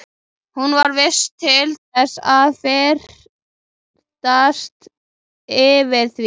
Hún var vís til þess að fyrtast yfir því.